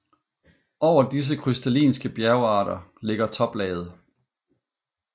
Over disse krystallinske bjergarter ligger toplaget